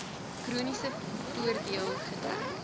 chroniese voordeel gedek